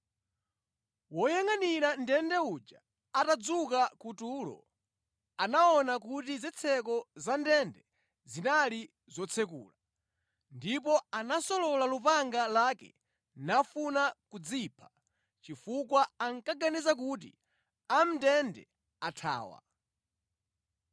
Woyangʼanira ndende uja atadzuka ku tulo, anaona kuti zitseko za ndende zinali zotsekula, ndipo anasolola lupanga lake nafuna kudzipha chifukwa ankaganiza kuti amʼndende athawa.